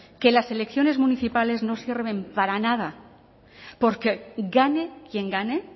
que las elecciones municipales no sirven para nada porque gane quien gane